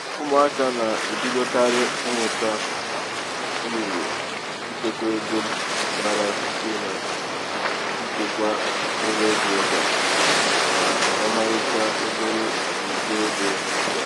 ụmụaka na-ebidokarị ịmụta um uru ichekwa ego um bara site n'ichekwa mkpụrụego ga um n'ọmarịcha obere igbe ego ga.